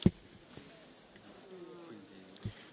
Herr Präsident, werte Kolleginnen und Kollegen!